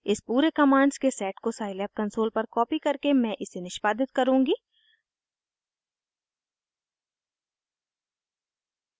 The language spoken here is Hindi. इस पूरे कमांड्स के सेट को साइलैब कंसोल पर कॉपी करके मैं इसे निष्पादित करुँगी